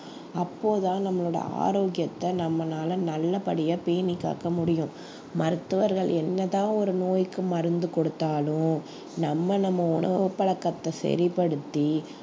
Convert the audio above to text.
அப்போதான் நம்மளோட ஆரோக்கியத்த நம்மளால நல்லபடியா பேணி காக்க முடியும் மருத்துவர்கள் என்ன தான் ஒரு நோய்க்கு மருந்து கொடுத்தாலும் நம்ம நம்ம உணவு பழக்கத்தை சரிபடுத்தி